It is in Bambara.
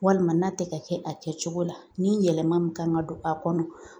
Walima n'a tɛ ka kɛ a kɛcogo la ni yɛlɛma min kan ka don a kɔnɔ